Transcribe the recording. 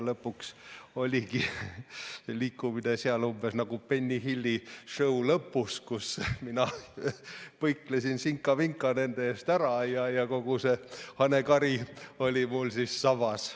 Lõpuks oligi liikumine seal umbes nagu "Benny Hilli show" lõpus, kus mina põiklesin sinka-vinka nende eest ära ja kogu see hanekari oli mul sabas.